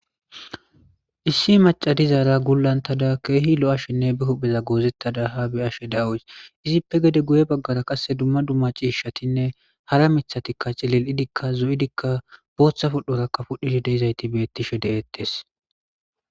Issi macca dizara guulantada kehi lo'ashenne be huphpheza gozettada ha be'ashe de'awusu izippe gede guyye baggera dumma dumma cishshatine hara miththatika cililidika zoidikka boththa pudhoraka pudhishe deizayti bettishe de'ettes.